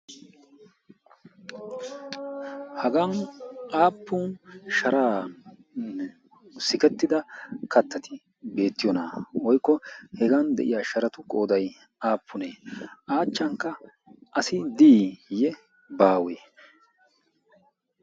hagan aappun sharaanne sikettida kattati beettiyoonaa? oikko hegan de7iya sharatu goodai aappunee? aachchankka asi diiyye baawee?